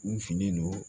U finen don